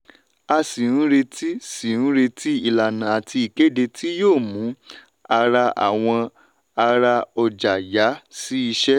a sì ń retí sì ń retí ìlànà àti ìkéde tí yóò mú ará àwọn ará ọjà yà sí ìṣe. um